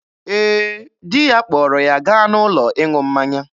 Ee, di ya kpọrọ ya gaa n'ụlọ ịṅụ mmanya.